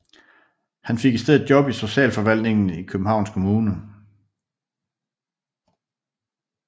Han fik i stedet job i Socialforvaltningen i Københavns Kommune